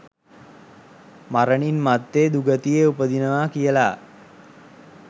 මරණින් මත්තේ දුගතියේ උපදිනවා කියලා.